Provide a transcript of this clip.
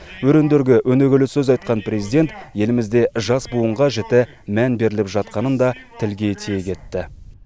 өрендерге өнегелі сөз айтқан президент елімізде жас буынға жіті мән беріліп жатқанын да тілге тиек етті